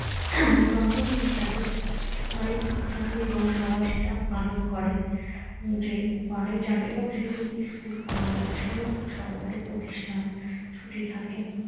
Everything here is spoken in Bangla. হম জন্মদিন হিসাবে সবাই জানে এবং সবাই সেটা পালন করে যে বারোই জান এবং সেদিন স্কুল কলেজ সমস্ত সরকারি প্রতিষ্ঠান ছুটি থাকে